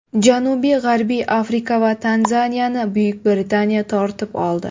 Janubiy-g‘arbiy Afrika va Tanzaniyani Buyuk Britaniya tortib oldi.